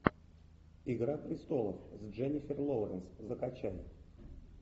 игра престолов с дженнифер лоуренс закачай